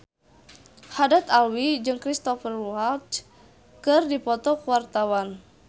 Haddad Alwi jeung Cristhoper Waltz keur dipoto ku wartawan